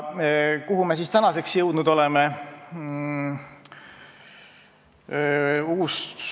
Kuhu me siis tänaseks jõudnud oleme?